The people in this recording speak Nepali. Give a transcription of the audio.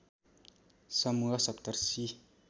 समूह सप्तऋषि